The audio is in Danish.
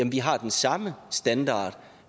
vi har den samme standard og